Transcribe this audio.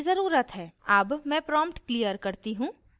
अब मैं prompt clear करती हूँ